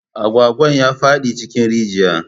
Agwagwan ya faɗi cikin rijiya